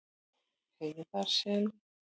Heiðarseli